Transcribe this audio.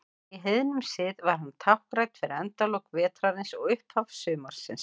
Í heiðnum sið var hann táknrænn fyrir endalok vetrarins og upphaf sumarsins.